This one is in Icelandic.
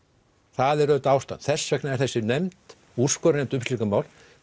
það er auðvitað ástæðan þess vegna er þessi nefnd úrskurðarnefnd um slík mál